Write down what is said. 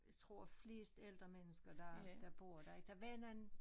Jeg tror flest ældre mennesker der der bor der ik der var nogen